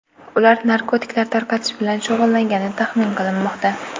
Ular narkotiklar tarqatish bilan shug‘ullangani taxmin qilinmoqda.